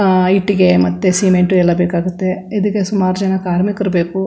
ಅಹ್ ಇಟ್ಟಿಗೆ ಮತ್ತೆ ಸಿಮೆಂಟು ಎಲ್ಲಾ ಬೇಕಾಗುತ್ತೆ ಇದಕ್ಕೆ ಸುಮಾರ್ ಜನ ಕಾರ್ಮಿಕರು ಬೇಕು.